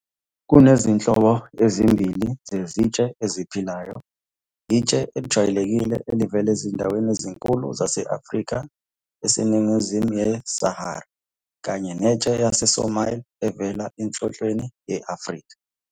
Kunezinhlobo ezimbili zezintshe eziphilayo intshe ejwayelekile evela ezindaweni ezinkulu zase-Afrika eseningizimu yeSahara, kanye nentshe yaseSomalia evela eNhlonhlweni ye-Afrika.